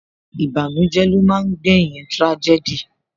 Ìbànújẹ́ ló máa ń gbé yín tírájẹ́dì